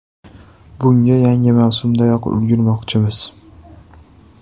Bunga yangi mavsumdanoq ulgurmoqchimiz.